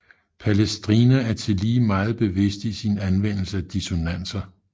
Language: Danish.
Palestrina er tillige meget bevidst i sin anvendelse af dissonanser